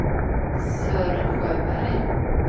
Sören Sjöberg